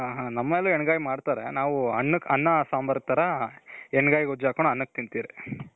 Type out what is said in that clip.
ನಮ್ಮಲ್ಲೂ ಹೆಣ್ ಗಾಯಿ ಮಾಡ್ತಾರೆ. ನಾವು ಅನ್ನ ಸಾಂಬಾರ್ ತರ ಹೆಣ್ ಗಾಯಿ ಗೊಜ್ಜು ಹಾಕೊಂಡು ಅನ್ನಕೆ ತಿಂತಿವಿ.